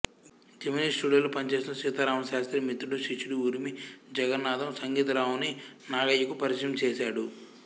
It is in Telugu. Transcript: జెమిని స్టూడియోలో పనిచేస్తున్న సీతారామశాస్త్రి మిత్రుడు శిష్యుడు ఉరిమి జగన్నాధం సంగీతరావుని నాగయ్యకు పరిచయం చేసాడు